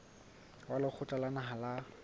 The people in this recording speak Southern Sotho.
wa lekgotla la naha la